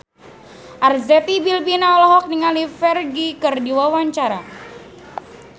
Arzetti Bilbina olohok ningali Ferdge keur diwawancara